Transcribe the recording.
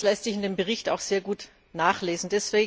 Das lässt sich in dem Bericht auch sehr gut nachlesen.